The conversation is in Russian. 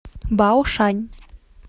баошань